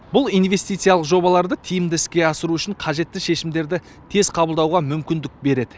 бұл инвестициялық жобаларды тиімді іске асыру үшін қажетті шешімдерді тез қабылдауға мүмкіндік береді